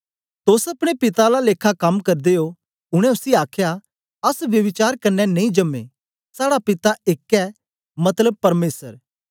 तोस अपने पिता आला लेखा कम करदे ओ उनै उसी आखया अस ब्यभिचार कन्ने नेई जम्मे साड़ा पिता एक ऐ मतलब परमेसर